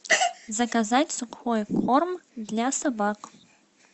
заказать сухой корм для собак